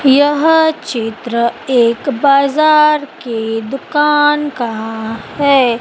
यह चित्र एक बाजार के दुकान का है।